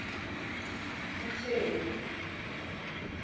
uthembi